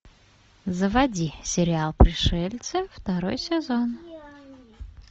заводи сериал пришельцы второй сезон